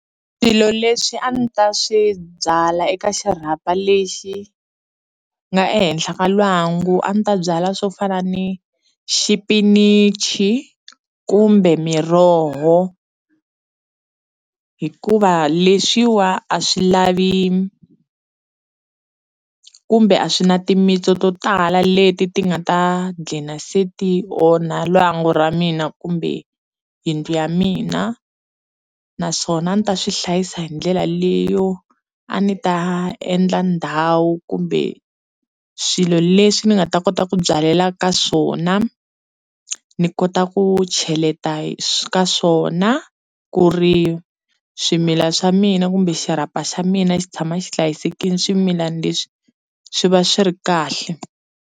Swilo leswi a ni ta swi byala eka xirhapa lexi nga ehenhla ka lwangu a ni ta byala swo fana ni xipinichi kumbe miroho hikuva leswiwa a swi lavi kumbe a swi na timitsu to tala leti ti nga ta gcina se ti onha lwangu ra mina kumbe yindlu ya mina naswona a ndzi ta swi hlayisa hi ndlela leyo a ni ta endla ndhawu kumbe swilo leswi ni nga ta kota ku byalela ka swona ni kota ku cheleta ka swona ku ri swimila swa mina kumbe xirhapa xa mina xi tshama xi hlayisekile swimilana leswi swi va swi ri kahle.